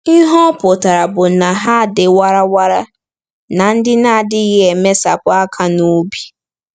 Ihe ọ pụtara bụ na ha dị warara na ndị na-adịghị emesapụ aka n’obi.